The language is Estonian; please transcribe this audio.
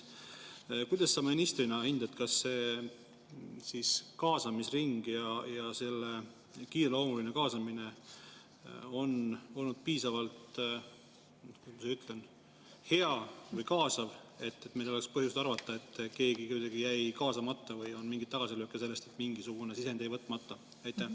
Kuidas sa ministrina hindad, kas see kaasamisring ja kiireloomuline kaasamine on olnud piisavalt, kuidas ma ütlen, hea või kaasav, et meil poleks põhjust arvata, et keegi jäi kuidagi kaasamata, või oli mingeid tagasilööke selle tõttu, et mingisugune sisend jäi võtmata?